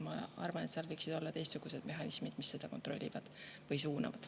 Ma arvan, et seal võiksid olla teistsugused mehhanismid, mis seda kontrollivad või suunavad.